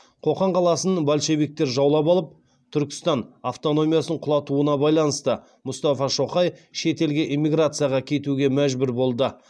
қоқан қаласын большевиктер жаулап алып түркістан автономиясын құлатуына байланысты мұстафа шоқай шет елге эмиграцияға кетуге мәжбүр болды